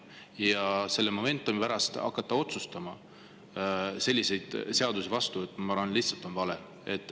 Ja selle momentumi pärast hakata selliseid seadusi vastu võtma – ma arvan, et see on lihtsalt vale.